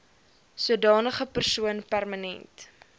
sodanige persoon permanent